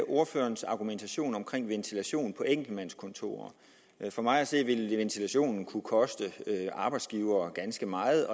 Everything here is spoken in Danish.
ordførerens argumentation om ventilation på enkeltmandskontorer for mig at se ville ventilationen kunne koste arbejdsgivere ganske meget